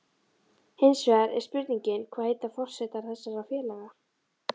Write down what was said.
Hinsvegar er spurningin, hvað heitar forsetar þessara félaga?